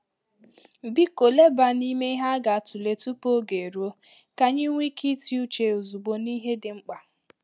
Biko leba n'ime ihe a ga-atụle tupu oge eruo, ka anyị nwee ike ịti uche ozugbo n’ihe dị mkpa.